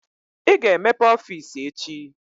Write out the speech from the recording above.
Ị ga-emepe ọfiisi echi!